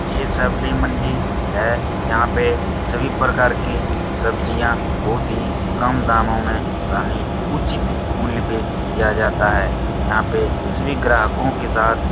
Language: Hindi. यह सब्डी मंजी है। यहाँ पे सभी प्रकार के सब्जियाँ बहोत ही कम दामों में यानी उचित मूल्य पे दिया जाता है। यहाँ पे सभी ग्राहको के साथ --